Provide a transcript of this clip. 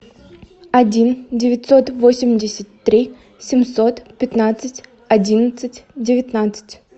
один девятьсот восемьдесят три семьсот пятнадцать одиннадцать девятнадцать